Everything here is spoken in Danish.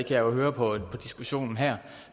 jeg jo høre på diskussionen her